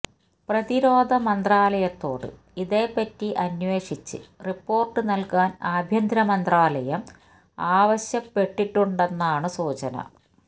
പ്രതിരോധ മന്ത്രായലയത്തോട് ഇതേപ്പറ്റി അന്വേഷിച്ച് റിപ്പോർട്ട് നൽകാൻ ആഭ്യന്തരമന്ത്രാലയം ആവശ്യപ്പെട്ടിട്ടുണ്ടെന്നാണ് സൂചന